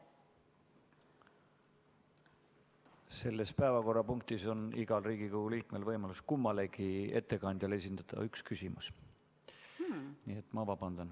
Selles päevakorrapunktis on igal Riigikogu liikmel võimalus kummalegi ettekandjale esitada üks küsimus.